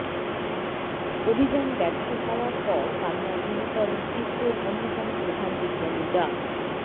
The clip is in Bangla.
অভিযান ব্যর্থ হওয়ার পর কান্নায় ভেঙে পড়েন ইসরোর অন্যতম প্রধান বিজ্ঞানী ডা